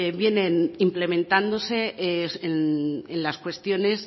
vienen implementándose en las cuestiones